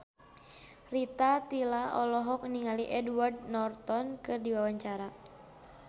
Rita Tila olohok ningali Edward Norton keur diwawancara